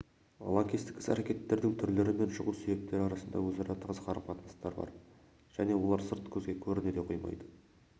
лаңкестік іс-әрекеттің түрлері мен шығу себептері арасында өзара тығыз қарым-қатынастар бар және олар сырт көзге көріне де қоймайды